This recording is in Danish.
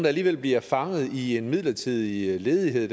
alligevel bliver fanget i en midlertidig ledighed